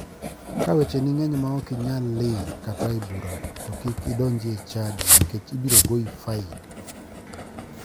Ka wecheni ng'eny ma ok inyal ling kata e bura to kik indonji e chadi nikech ibiro goyi fain.